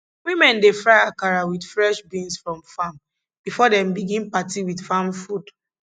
women dey fry akara with fresh beans from farm before dem begin party with farm food